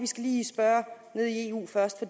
skal lige spørge nede i eu først for